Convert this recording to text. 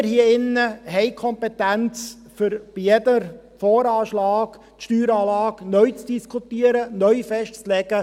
Wir hier haben die Kompetenz, um die Steueranlage bei jedem VA neu zu diskutieren, neu festzulegen.